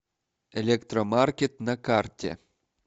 электромаркет на карте